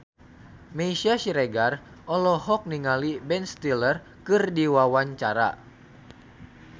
Meisya Siregar olohok ningali Ben Stiller keur diwawancara